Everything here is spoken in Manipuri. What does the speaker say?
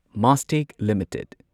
ꯃꯥꯁꯇꯦꯛ ꯂꯤꯃꯤꯇꯦꯗ